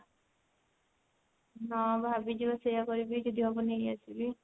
ହଁ ଭାବିଛି ବା ସେଇଆ କରିବି ଯଦି ହବ ନେଇ ଆସିବି